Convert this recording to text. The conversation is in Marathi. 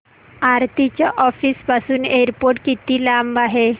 आरती च्या ऑफिस पासून एअरपोर्ट किती लांब आहे